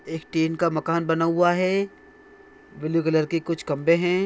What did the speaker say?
एक टीन का मकान बना हुआ है ब्लू कलर की कुछ कमरे हैं